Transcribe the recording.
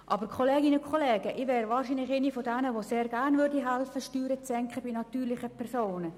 Ich gehöre zu denjenigen, die sehr gerne mithelfen würden, bei den natürlichen Personen die Steuern zu senken.